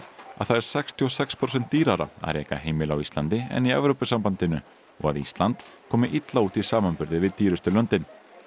að það er sextíu og sex prósentum dýrara að reka heimili á Íslandi en í Evrópusambandinu og að Ísland komi illa út í samanburði við dýrustu löndin